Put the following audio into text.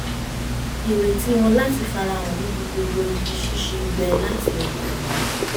ìrètí wọn láti farahàn níbi gbogbo ibi ṣíṣe gbẹ láti ọkàn wá